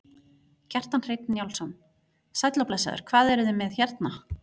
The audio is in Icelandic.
Kjartan Hreinn Njálsson: Sæll og blessaður, hvað eruð þið með hérna?